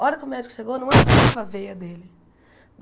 Hora que o médico chegou, não a veia dele.